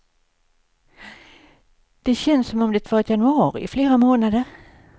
Det känns som om det varit januari i flera månader.